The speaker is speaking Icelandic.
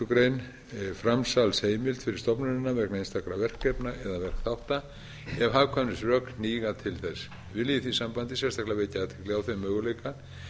greinar framsalsheimild fyrir stofnunina vegna einstakra verkefna eða verkþátta ef hagkvæmnisrök hníga til þess vil ég í því sambandi sérstaklega vekja athygli á þeim möguleika